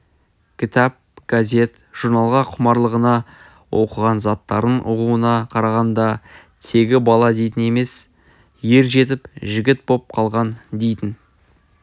кітап газет журналға құмарлығына оқыған заттарын ұғуына қарағанда -тегі бала дейтін емес ер жетіп жігіт боп қалған дейтін